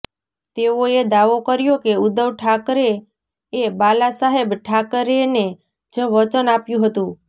તેઓએ દાવો કર્યો કે ઉદ્ધવ ઠાકરે એ બાલા સાહેબ ઠાકરેને જ વચન આપ્યુ હતુ